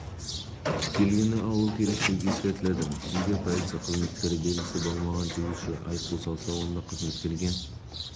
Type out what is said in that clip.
белгісі қойылмаған жүргізушілерге айыппұл салынбасын деген нұсқау берілді бұл тәртіп бұзушылыққа рәсімдеу жасалынбайды бірақ жүргізушіге аталмыш